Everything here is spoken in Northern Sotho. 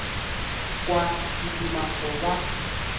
kwa ke duma go ba